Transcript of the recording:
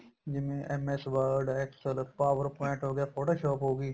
ਜਿਵੇਂ MS word excel PowerPoint ਹੋ ਗਿਆ shop ਹੋਗੀ